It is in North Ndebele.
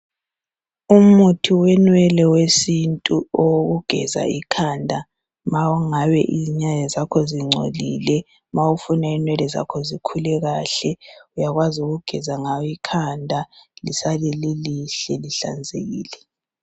Umuthi wenwele wesintu okugeza ikhanda ma ungabe inwele zakho zingcolile. Ma ufuna inwele zakho zikhule kahle uyakwazi ukugeza ngawo ikhanda lisale lilihle lihlanzekile.